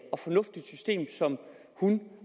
og fornuftigt system som hun